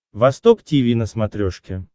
восток тиви на смотрешке